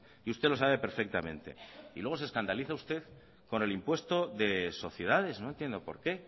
y usted lo sabe perfectamente y luego se escandaliza usted con el impuesto de sociedades no entiendo por qué